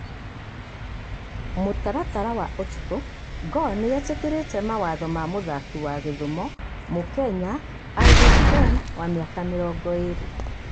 (Mũtaratara wa ũtukũ) Gor nĩ etĩkĩrĩte mawatho ma mũtharaki wa Gĩthumo, mukenya Alvis Ken wa miaka mĩrongoirĩ.